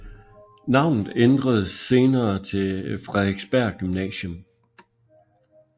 Navnet ændredes senere til Frederiksberg Gymnasium